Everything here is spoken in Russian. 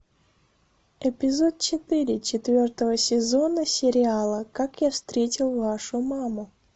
эпизод четыре четвертого сезона сериала как я встретил вашу маму